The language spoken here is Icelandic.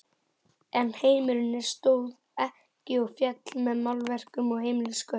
En heimurinn stóð ekki og féll með málverkum og heimilisköttum.